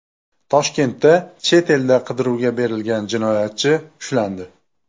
Toshkentda chet elda qidiruvga berilgan jinoyatchi ushlandi.